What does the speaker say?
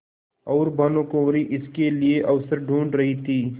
और भानुकुँवरि इसके लिए अवसर ढूँढ़ रही थी